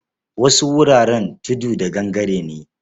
Wasu wuraren tudu da gangare ne.